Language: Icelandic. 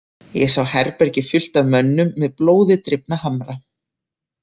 Ég sá herbergi fullt af mönnum með blóði drifna hamra.